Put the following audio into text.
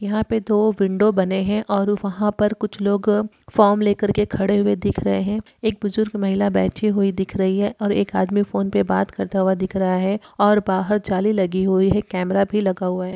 यहां पे दो विंडो बने हैं और वहा पर कुछ लोग फॉर्म लेकर के खड़े हुए दिख रहे हैं। एक बुजुर्ग महिला बैठी हुई दिख रही है और एक आदमी फोन पे बात करता हुआ दिख रहा है और बाहर जाली लगी हुई है। कैमरा भी लगा हुआ है।